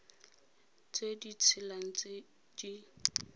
tse di tshelang tse di